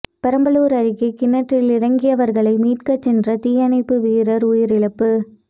பெரம்பலூர் அருகே கிணற்றில் இறங்கியவர்களை மீட்கச் சென்ற தீயணைப்பு வீரர் உயிரிழப்பு